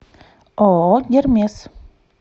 ооо гермес